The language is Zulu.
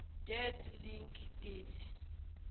dead link date